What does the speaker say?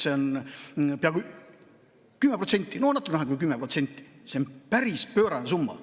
See on 10%, no natuke vähem kui 10%, see on päris pöörane summa.